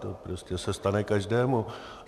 To prostě se stane každému.